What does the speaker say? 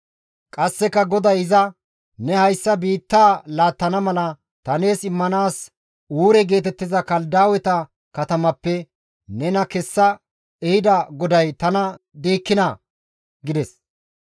Qasseka GODAY iza, «Ne hayssa biittaa laattana mala ta nees immanaas Uure geetettiza Kaladaaweta katamappe nena kessa ehida GODAY tana diikkinaa?» gides.